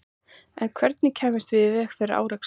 En hvernig kæmum við í veg fyrir árekstur?